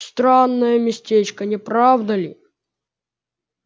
странное местечко не правда ли